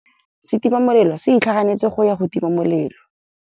Setima molelô se itlhaganêtse go ya go tima molelô.